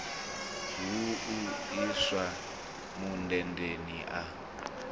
hu u iswa mundendeni a